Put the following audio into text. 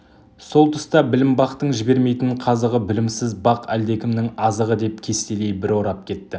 сол тұста білім бақтың жібермейтін қазығы білімсіз бақ әлдекімнің азығы деп кестелей бір орап кетті